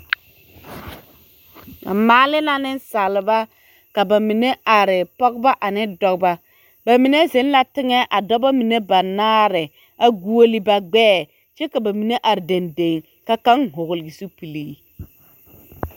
Ba maale la nensaalba ka ba bamine are, pɔgeba ane dɔbɔ, bamine zeŋ la teŋɛ a dɔbɔ mine banaare a goɔle ba gbɛɛ kyɛ ka bamine are dendeŋe ka kaŋ hɔgele zupili.